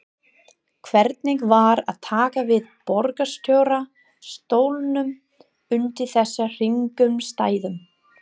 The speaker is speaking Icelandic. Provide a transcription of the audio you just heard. Hvernig var að taka við borgarstjóra stólnum undir þessum kringumstæðum?